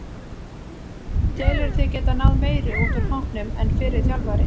Telurðu þig geta náð meiru út úr hópnum en fyrri þjálfari?